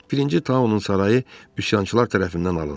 Birinci Taonun sarayı üsyançılar tərəfindən alındı.